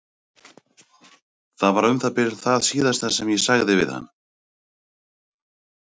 Það var um það bil það síðasta sem ég sagði við hann.